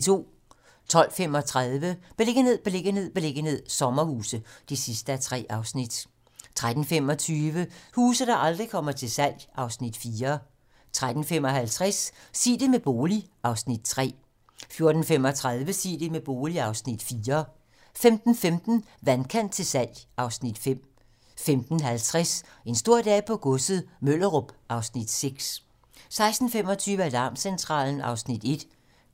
12:35: Beliggenhed, beliggenhed, beliggenhed - sommerhuse (3:3) 13:25: Huse, der aldrig kommer til salg (Afs. 4) 13:55: Sig det med bolig (Afs. 3) 14:35: Sig det med bolig (Afs. 4) 15:15: Vandkant til salg (Afs. 5) 15:50: En stor dag på godset - Møllerup (Afs. 6) 16:25: Alarmcentralen (Afs. 1)